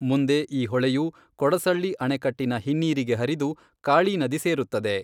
ಮುಂದೆ ಈ ಹೊಳೆಯು ಕೊಡಸಳ್ಳಿ ಅಣೆಕಟ್ಟಿನ ಹಿನ್ನೀರಿಗೆ ಹರಿದು , ಕಾಳಿ ನದಿ ಸೇರುತ್ತದೆ.